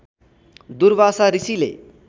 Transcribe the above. दुर्वासा ऋषिले